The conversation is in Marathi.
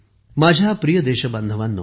माझ्या प्रिय देशबांधवांनो